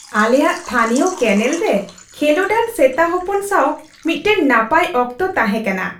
ᱟᱞᱮᱭᱟᱜ ᱛᱷᱟᱹᱱᱤᱭᱚ ᱠᱮᱱᱮᱞ ᱨᱮ ᱠᱷᱮᱞᱳᱰᱟᱱ ᱥᱮᱛᱟ ᱦᱚᱯᱚᱱ ᱥᱟᱶ ᱢᱤᱫᱴᱟᱝ ᱱᱟᱯᱟᱭ ᱚᱠᱛᱚ ᱛᱟᱦᱮᱸᱠᱟᱱᱟ ᱾